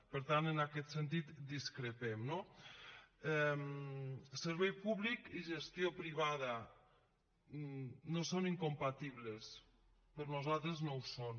per tant en aquest sentit discrepem no servei públic i gestió privada no són incompatibles per nosaltres no ho són